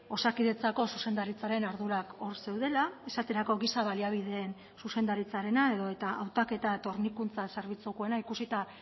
osakidetzako zuzendaritzaren ardurak hor zeudela esaterako giza baliabideen zuzendaritzarena edota hautaketa eta hornikuntza zerbitzukoena ikusita